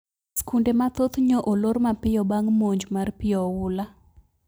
Skunde mathoth nyo olor mapiyo bang` monj mar pi oula